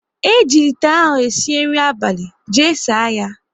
Eji ite ahụ sie nri abalị, jee saa ya!